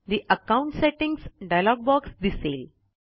ठे account settings dialog box दिसेल